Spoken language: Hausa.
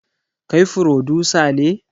Kai frodusa ne?